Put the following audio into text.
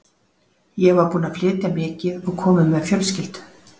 Ég var búinn að flytja mikið og kominn með fjölskyldu.